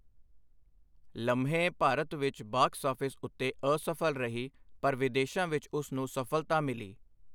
ਲਮਹੇ ਭਾਰਤ ਵਿੱਚ box office ਉੱਤੇ ਅਸਫਲ ਰਹੀ ਪਰ ਵਿਦੇਸ਼ਾਂ ਵਿੱਚ ਉਸ ਨੂੰ ਸਫਲਤਾ ਮਿਲੀ।